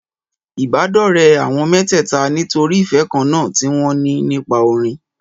Ìbádọ́rẹ̀ẹ́ àwọn mẹ́tẹ̀ẹ̀ta nítorí ìfẹ́ kan náà tí wọn ní nípa orin.